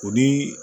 O ni